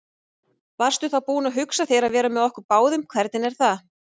Varstu þá búin að hugsa þér að vera með okkur báðum, hvernig er það?